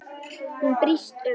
Hún brýst um.